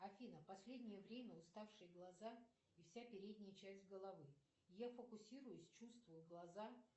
афина последнее время уставшие глаза и вся передняя часть головы я фокусируюсь чувствую глаза